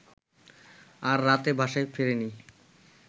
আর রাতে বাসায় ফেরেনি